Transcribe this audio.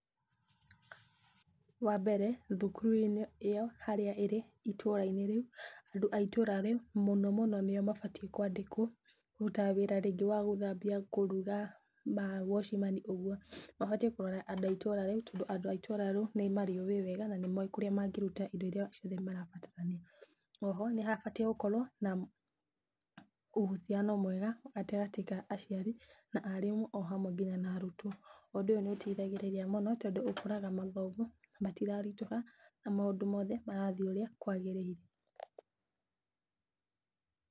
Wa mbere thukuru-inĩ ĩyo harĩa ĩrĩ itũra-inĩ rĩu, andũ a itũra rĩu mũno mũno nĩo mabatiĩ kwandĩkwo kũrutaga wĩra rĩngĩ wa gũthambia, kũruga na wacimani ũguo. Mabatiĩ kũrora andũ a itũra rĩu, tondũ andũ a itũra rĩu nĩ marĩũwĩ wega na nĩmowĩ kũrĩa mangĩruta indo iria ciothe marabatarania. O ho nĩ mabatiĩ gũkorwo na uhusiano mwega gatagatĩ ka aciari, arimũ o hamwe nginya na arutwo. Ũndũ ũyũ nĩ ũteithagĩrĩria mũno, tondũ ũkoraga mathomo matiraritũha na maũndũ mothe marathiĩ ũrĩa kwagĩrĩire.